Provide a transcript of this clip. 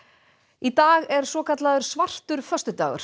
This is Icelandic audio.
í dag er svokallaður svartur föstudagur